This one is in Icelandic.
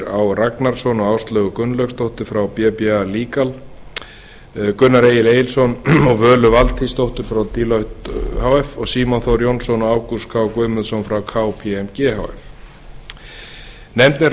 á ragnarsson og áslaugu gunnlaugsdóttur frá bba legal gunnar egil egilsson og völu valtýsdóttur frá deloitte h f og símon þór jónsson og ágúst k guðmundsson frá kpmg h f nefndin